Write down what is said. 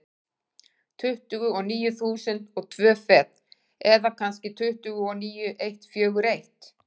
Tuttugu og níu þúsund og tvö fet, eða kannski tuttugu og níu eitt fjögur eitt.